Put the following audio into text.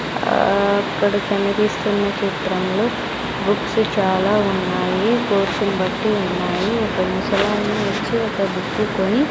ఆ అక్కడ కనిపిస్తున్న చిత్రంలో బుక్స్ చాలా ఉన్నాయి కోర్సును బట్టి ఉన్నాయి ఒక ముసలాయన వచ్చి ఒక బుక్కు కొని --